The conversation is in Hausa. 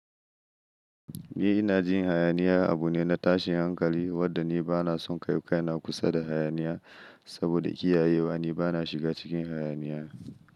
Ni ina jin hayaniya abu ne na tashin hankali wadda ni bana son kai kaina kusa da hayaniya saboda kiyaye wa ni bana shiga cikin hayaniya.